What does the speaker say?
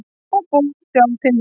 Og búið sjálf til nýja.